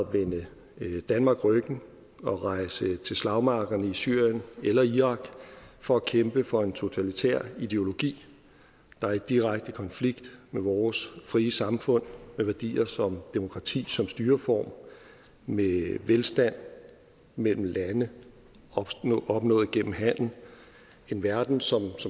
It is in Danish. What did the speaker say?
vende danmark ryggen og rejse til slagmarkerne i syrien eller irak for at kæmpe for en totalitær ideologi der er i direkte konflikt med vores frie samfund med værdier som demokrati som styreform med velstand mellem lande opnået igennem handel en verden som